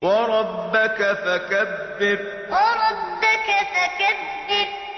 وَرَبَّكَ فَكَبِّرْ وَرَبَّكَ فَكَبِّرْ